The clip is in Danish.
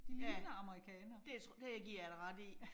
Ja, det tror, det giver jeg dig ret i